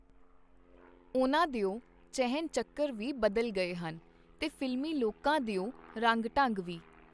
ਉਹਨਾਂ ਦਿਓ ਚਿਹਨ-ਚੱਕਰ ਵੀ ਬਦਲ ਗਏ ਹਨ, ਤੇ ਫ਼ਿਲਮੀ ਲੋਕਾਂ ਦਿਓ ਰੰਗ-ਢੰਗ ਵੀ.